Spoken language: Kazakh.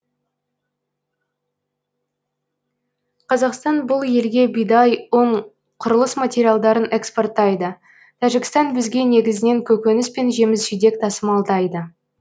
қазақстан бұл елге бидай ұн құрылыс материалдарын экспорттайды тәжікстан бізге негізінен көкөніс пен жеміс жидек тасымалдайды